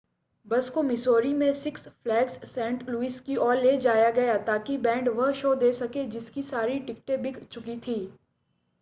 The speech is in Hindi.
बस को मिसौरी में सिक्स फ़्लैग्स सेंट लुइस की ओर ले जाया गया ताकि बैंड वह शो दे सके जिसकी सारी टिकटें बिक चुकी थी